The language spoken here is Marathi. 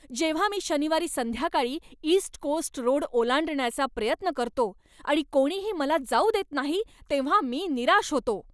जेव्हा मी शनिवारी संध्याकाळी ईस्ट कोस्ट रोड ओलांडण्याचा प्रयत्न करतो आणि कोणीही मला जाऊ देत नाही तेव्हा मी निराश होतो.